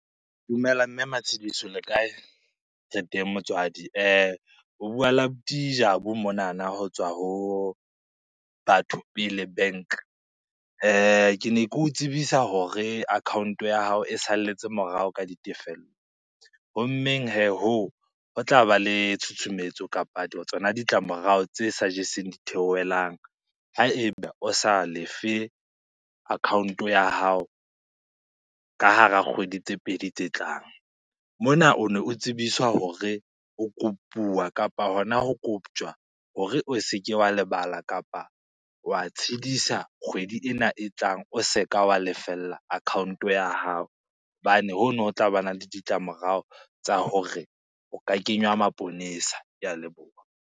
Dumela mme Matshidiso le kae? Re teng motswadi. O bua le abuti Jabu monana ho tswa ho Batho Pele bank, ke ne ke o tsebisa hore account ya hao e salletse morao ka ditefello. Hommeng hee hoo, ho tla ba le tshutshumetso kapa tsona ditlamorao tse sa jeseng di theohelang, haeba o sa lefe account ya hao ka hara kgwedi tse pedi tse tlang. Mona o ne o tsebiswa hore o kopuwa kapa hona ho koptjwa hore o se ke wa lebala kapa wa tshidisa kgwedi ena e tlang o se ka wa lefella account ya hao, hobane hono ho tlabana le ditlamorao tsa hore o ka kenywa maponesa, ke a leboha.